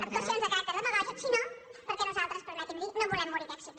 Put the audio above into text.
actuacions de caràcter demagògic sinó perquè nosal·tres permeti’m dir·ho no volem morir d’èxit